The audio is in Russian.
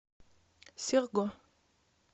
серго